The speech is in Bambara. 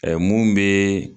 mun be